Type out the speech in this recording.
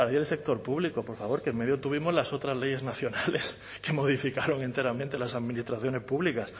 del sector público por favor que en medio tuvimos las otras leyes nacionales que modificaron enteramente las administraciones públicas